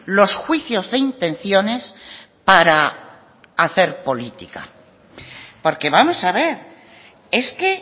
los juicios de intenciones para hacer política porque vamos a ver es que